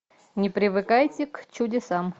не привыкайте к чудесам